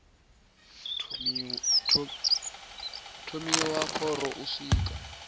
thomiwa ha khoro u swika